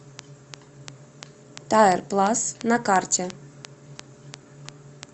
тайр плас на карте